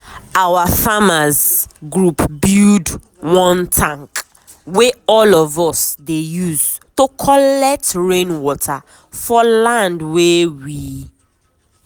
our farmers’ group build one tank wey all of us dey use to collect rain water for land wey we